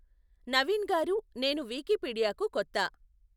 నవీన్ గారూ నేను వికిపీడియాకు కొత్త.